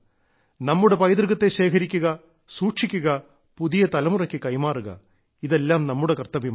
നമ്മുടെ പൈതൃകത്തെ ശേഖരിക്കുക സൂക്ഷിക്കുക പുതിയ തലമുറയ്ക്ക് കൈമാറുക ഇതെല്ലാം നമ്മുടെ കർത്തവ്യമാണ്